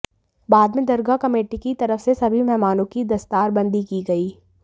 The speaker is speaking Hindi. बाद में दरगाह कमेटी की तरफ से सभी मेहमानों की दस्तारबंदी की गई